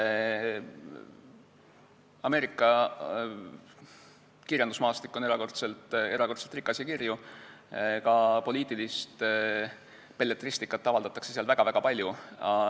Ameerika kirjandusmaastik on erakordselt rikas ja kirju, ka poliitilist belletristikat avaldatakse seal väga-väga palju.